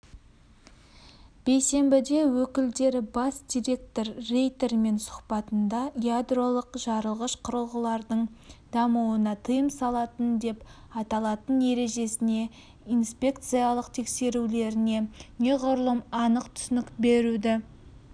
бейсенбіде өкілдері бас директоры рейтермен сұхбатында ядролық жарылғыш құрылғылардың дамуына тыйым салатын деп аталатын ережесіне инспекциялық тексерулеріне неғұрлым анық түсінік беруді